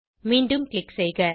மீண்டும் க்ளிக் செய்க